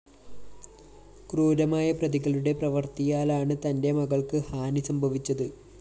ക്രൂരമായ പ്രതികളുടെ പ്രവര്‍ത്തിയാലാണ് തന്റെ മകള്‍ക്ക് ഹാനി സംഭവിച്ചത്